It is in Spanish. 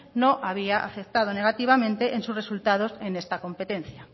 no había afectado negativamente en sus resultados en esta competencia